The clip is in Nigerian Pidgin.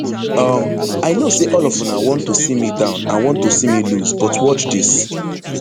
um i know say all of una want to see me down and want to see me lose but watch dis